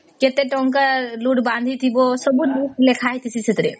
ଯେତେ ଟଙ୍କା ଲୋଡ ବାନ୍ଧିଥିବା ସବୁ ଲେଖା ହେଇଚି ସେଥିରେ